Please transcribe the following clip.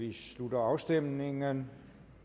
vi slutter afstemningen